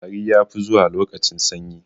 Tari ya fi zuwa lokacin sanyi